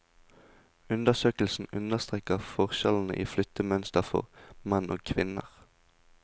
Undersøkelsen understreker forskjellene i flyttemønstre for menn og kvinner.